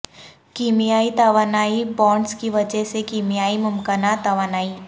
کیمیائی توانائی بانڈز کی وجہ سے کیمیائی ممکنہ توانائی